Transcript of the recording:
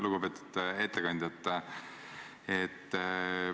Lugupeetud ettekandja!